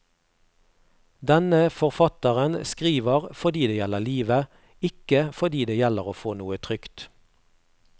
Denne forfatteren skriver fordi det gjelder livet, ikke fordi det gjelder å få noe trykt.